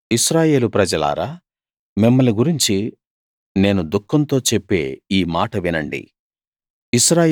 ఇశ్రాయేలు ప్రజలారా మిమ్మల్ని గురించి నేను దుఃఖంతో చెప్పే ఈ మాట వినండి